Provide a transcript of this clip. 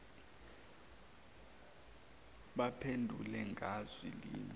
baphendule ngazwi linye